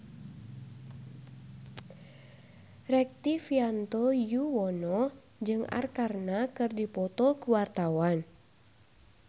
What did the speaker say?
Rektivianto Yoewono jeung Arkarna keur dipoto ku wartawan